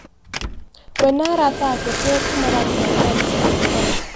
Wee na arata ake tio tu maratũmanira bica cia njaga.